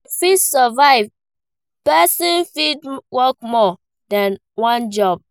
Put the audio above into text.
To fit survive, person fit work more than one job